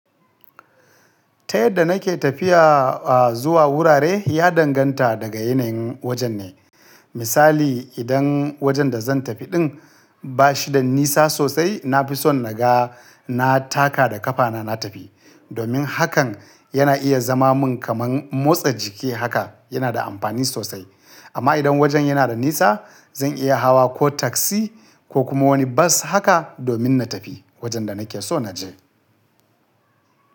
Ta yadda nake tafiya a zuwa wurare ya danganta daga yanayin wajen ne. Misali, idan wajen da zan tafi ɗin ba shi da nisa sosai, na fi son naga na taka da ƙafana na tafi. Domin hakan yana iya zama mun kaman motsa jiki haka yana da amfani sosai. Amma idan wajen yana da nisa, zan iya hawa ko taksi ko kuma wani bas haka domin na tafi wajen da nake so na je.